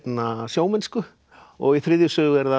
sjómennsku og í þriðju sögu er það